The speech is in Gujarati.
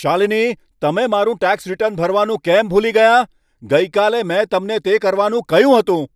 શાલિની, તમે મારું ટેક્સ રીટર્ન ભરવાનું કેમ ભૂલી ગયાં? ગઈકાલે મેં તમને તે કરવાનું કહ્યું હતું.